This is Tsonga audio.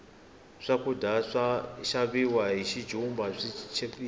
swakudya swaka xaviwa hi xijumba swi chipile